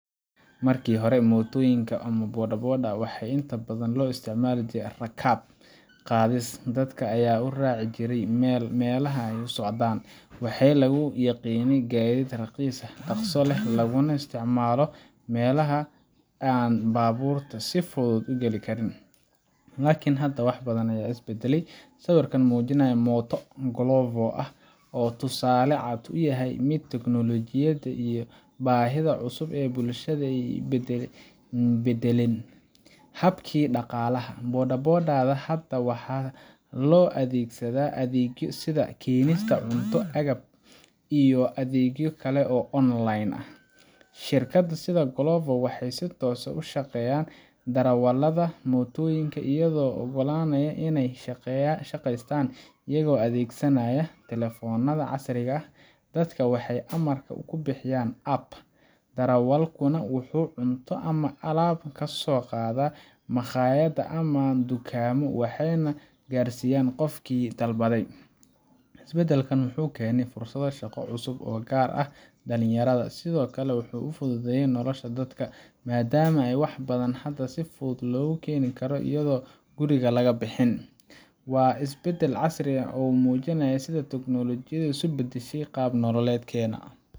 Markii hore, mootooyinka ama bodaboda-da waxay inta badan loo isticmaali jiray rakaab qaadis, dadka ayaana u raaci jiray meelaha ay u socdaan. Waxaa lagu yaqiinnay gaadiid raqiis ah, dhaqso leh, laguna isticmaalo meelaha aan baabuurta si fudud u geli karin. Laakiin hadda wax badan ayaa is beddelay. Sawirka muujinaya mooto Glovo ah wuxuu tusaale cad u yahay sida teknoolojiyadda iyo baahiyaha cusub ee bulshada u beddeleen habkii dhaqaalaha. bodaboda-da hadda waxaa loo adeegsadaa adeegyo sida keenista cunto, agab, iyo adeegyo kale oo online ah. Shirkado sida Glovo waxay si toos ah ula shaqeeyaan darawallada mootooyinka, iyagoo u oggolaanaya inay shaqeystaan iyaga oo adeegsanaya telefoonadooda casriga ah. Dadka waxay amarka ku bixiyaan app, darawalkuna wuxuu cunto ama alaab kasoo qaadaa makhaayad ama dukaanno, wuxuuna gaarsiiyaa qofkii dalbaday. Isbeddelkan wuxuu keenay fursado shaqo oo cusub, gaar ahaan dhalinyarada. Sidoo kale wuxuu fududeeyay noloshii dadka, maadaama wax badan hadda si fudud loogu heli karo iyadoo aan guriga laga bixin. Waa isbeddel casri ah oo muujinaya sida tiknoolajiyaddu u beddeshay qaab nololeedkeena.